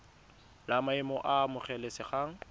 la maemo a a amogelesegang